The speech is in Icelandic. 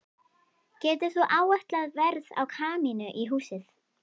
Getur þú áætlað verð á kamínu í húsið?